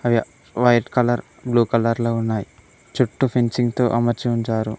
అవి white colour blue colour లో ఉన్నాయ్ చుట్టూ ఫెంచింగ్ తో అమర్చి ఉంచారు.